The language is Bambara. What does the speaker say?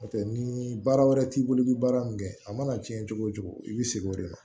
N'o tɛ ni baara wɛrɛ t'i bolo i bɛ baara min kɛ a mana cɛn cogo o cogo i bɛ segin o de ma